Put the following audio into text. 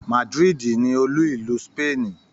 Madrid ni olú ìlú Spain